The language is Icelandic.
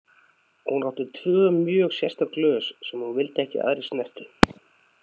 Hún átti tvö mjög sérstök glös sem hún vildi ekki að aðrir snertu.